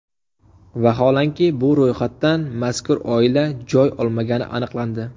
Vaholanki, bu ro‘yxatdan mazkur oila joy olmagani aniqlandi.